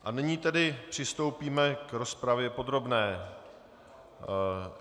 A nyní tedy přistoupíme k rozpravě podrobné.